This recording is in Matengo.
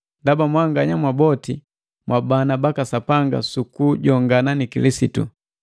Ndaba mwanganya mwaboti mwabana baka Sapanga su kujongana ni Yesu Kilisitu.